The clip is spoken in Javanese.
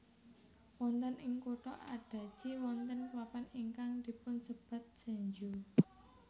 Wonten ing kutha Adachi wonten papan ingkang dipunsebat Senju